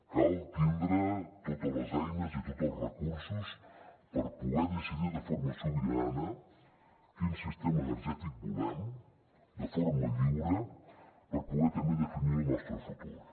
cal tindre totes les eines i tots els recursos per poder decidir de forma sobirana quin sistema energètic volem de forma lliure per poder també definir el nostre futur